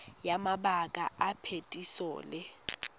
ya mabaka a phetiso le